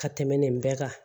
Ka tɛmɛ nin bɛɛ kan